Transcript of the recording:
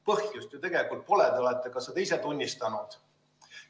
Põhjust ju tegelikult pole, te olete seda ka ise tunnistanud.